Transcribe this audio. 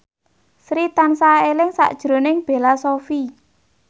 Sri tansah eling sakjroning Bella Shofie